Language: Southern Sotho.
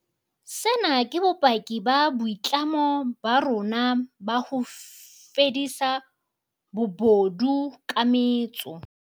Sena ke bopaki ba boitlamo ba rona ba ho fedisa bobodu ka metso.